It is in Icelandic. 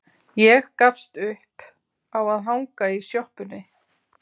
Ég gafst upp á að hanga í sjoppunni.